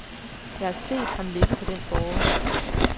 Jeg har set ham ligge på den båre.